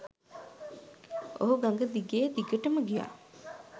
ඔහු ගඟ දිගේ දිගටම ගියා.